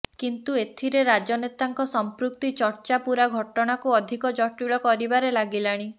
କିନ୍ତୁ ଏଥିରେ ରାଜନେତାଙ୍କ ସଂପୃକ୍ତି ଚର୍ଚ୍ଚା ପୂରା ଘଟଣାକୁ ଅଧିକ ଜଟିଳ କରିବାରେ ଲାଗିଲାଣି